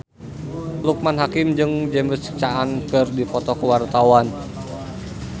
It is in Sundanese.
Loekman Hakim jeung James Caan keur dipoto ku wartawan